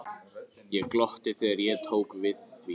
Ég glotti þegar ég tók við því.